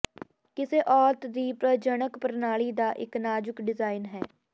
ਕਿਸੇ ਔਰਤ ਦੀ ਪ੍ਰਜਨਕ ਪ੍ਰਣਾਲੀ ਦਾ ਇੱਕ ਨਾਜ਼ੁਕ ਡਿਜ਼ਾਇਨ ਹੈ